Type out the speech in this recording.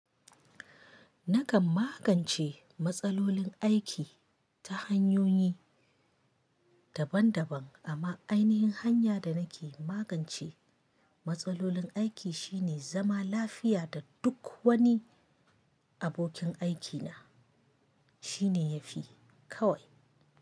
Nakan magance matsalolin aiki ta hanyoyi daban daban amma ainihin hanya da nake magance matsalolin aiki shine zama lafiya da duk wani abokin aikina shine yafi kawai.